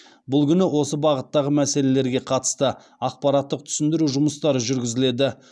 бұл күні осы бағыттағы мәселелерге қатысты ақпараттық түсіндіру жұмыстары жүргізіледі